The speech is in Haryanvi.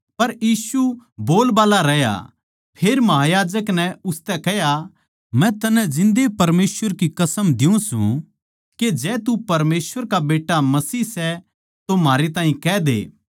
पर यीशु बोलबाल्ला रहया फेर महायाजक नै उसतै कह्या मै तन्नै जिन्दे परमेसवर की कसम दियुँ सूं के जै तू परमेसवर का बेट्टा मसीह सै तो म्हारै ताहीं कह दे